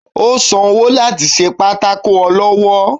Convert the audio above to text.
o sán ọwọ latí sé pàtàkó olọwọ